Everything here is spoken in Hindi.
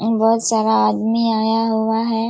अउ बहुत सारा आदमी आया हुआ है।